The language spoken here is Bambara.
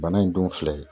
Bana in dun filɛ